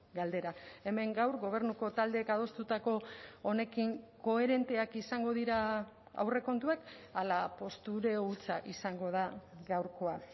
galdera hemen gaur gobernuko taldeek adostutako honekin koherenteak izango dira aurrekontuak ala postureo hutsa izango da gaurkoa